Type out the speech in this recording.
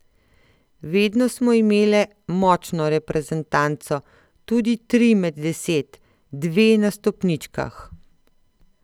Vedno smo imele močno reprezentanco, tudi tri med deset, dve na stopničkah.